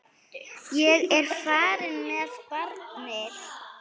Ég er farin með barnið!